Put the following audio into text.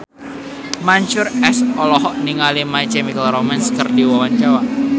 Mansyur S olohok ningali My Chemical Romance keur diwawancara